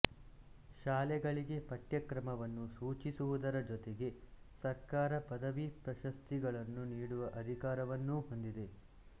ಶಾಲೆಗಳಿಗೆ ಪಠ್ಯಕ್ರಮವನ್ನು ಸೂಚಿಸುವುದರ ಜೊತೆಗೆ ಸರ್ಕಾರ ಪದವಿ ಪ್ರಶಸ್ತಿಗಳನ್ನು ನೀಡುವ ಅಧಿಕಾರವನ್ನೂ ಹೊಂದಿದೆ